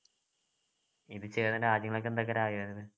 ഇത് ചെയ്യുന്ന രാജ്യങ്ങളൊക്കെ എന്തൊക്കെരായായത്